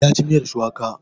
Ya ci miyar shuwaka.